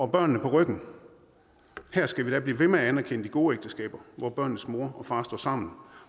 børnene på ryggen her skal vi da blive ved med at anerkende de gode ægteskaber hvor børnenes mor og far står sammen